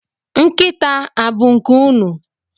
Nkịta a bụ nke unu?